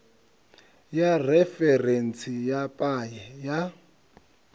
ya referentsi ya paye ya